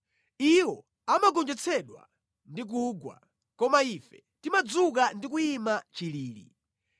Iwo amagonjetsedwa ndi kugwa, koma ife timadzuka ndi kuyima chilili.